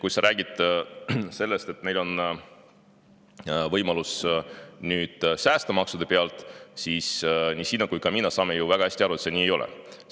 Kui sa räägid sellest, et neil on võimalus nüüd säästa maksude pealt, siis nii sina kui ka mina saame ju väga hästi aru, et see nii ei ole.